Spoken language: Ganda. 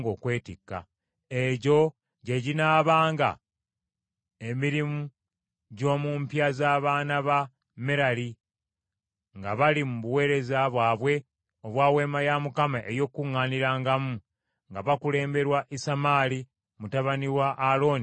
Egyo gye ginaabanga emirimu gy’omu mpya z’abaana ba Merali nga bali mu buweereza bwabwe obwa Weema ey’Okukuŋŋaanirangamu, nga bakulemberwa Isamaali mutabani wa Alooni kabona.”